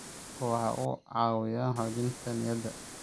Kalluunku waxa uu caawiyaa xoojinta niyadda.